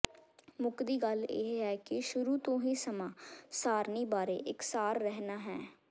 ਮੁੱਕਦੀ ਗੱਲ ਇਹ ਹੈ ਕਿ ਸ਼ੁਰੂ ਤੋਂ ਹੀ ਸਮਾਂ ਸਾਰਣੀ ਬਾਰੇ ਇਕਸਾਰ ਰਹਿਣਾ ਹੈ